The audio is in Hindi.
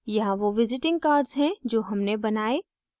यहाँ वो visiting cards हैं जो हमने बनाये